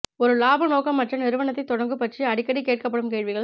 ஒரு இலாப நோக்கமற்ற நிறுவனத்தைத் தொடங்கு பற்றி அடிக்கடி கேட்கப்படும் கேள்விகள்